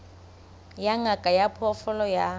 ya ngaka ya diphoofolo ya